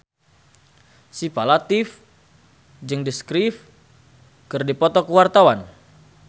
Syifa Latief jeung The Script keur dipoto ku wartawan